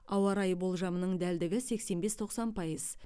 ауа райы болжамының дәлдігі сексен бес тоқсан пайыз